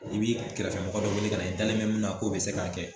I b'i kɛrɛfɛmɔgɔ dɔ wele ka na i dalen be min na k'o be se k'a kɛ